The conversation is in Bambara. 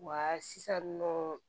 Wa sisan nɔ